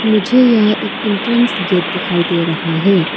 मुझे यहां एक एंट्रेंस गेट दिखाई दे रहा है।